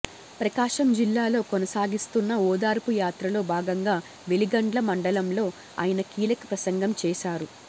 ప్రకాశం జిల్లాలో కొనసాగిస్తున్న ఓదార్పు యాత్రలో భాగంగా వెలిగండ్ల మండలంలో ఆయన కీలక ప్రసంగం చేశారు